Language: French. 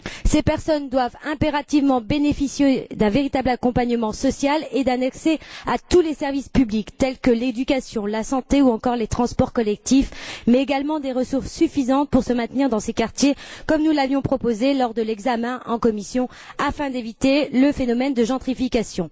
Ces personnes doivent impérativement bénéficier d'un véritable accompagnement social et d'un accès à tous les services publics tels que l'éducation, la santé ou encore les transports collectifs, mais également des ressources suffisantes pour se maintenir dans ces quartiers, comme nous l'avions proposé lors de l'examen en commission afin d'éviter le phénomène de gentrification.